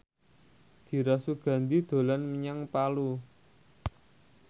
Dira Sugandi dolan menyang Palu